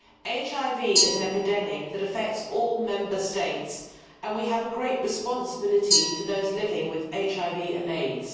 HIV is an epidemic that affects all Member States and we have a great responsibility to those living with HIV and AIDS.